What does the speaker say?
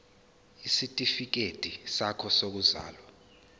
isitifikedi sakho sokuzalwa